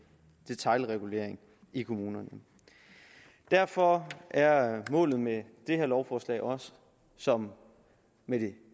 detailregulering i kommunerne derfor er målet med det her lovforslag også som med det